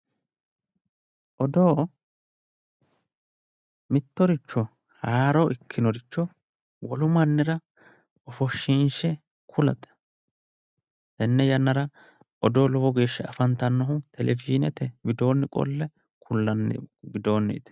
Odoo, odoo mittoricho haaro ikkinoricho wolu mannira ofoshinshe kulate, tenne yannara odoo lowo geeshsha afantanohu televishinete widooni qole mulanni widooniti